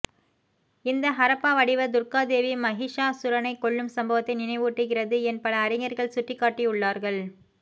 இந்த ஹரப்பா வடிவம் துர்க்கா தேவி மஹிஷாஸுரனை கொல்லும் சம்பத்தை நினைவூட்டுகிறது என் பல அறிஞர்கள் சுட்டிக்காட்டியுள்ளார்கள்